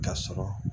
Ka sɔrɔ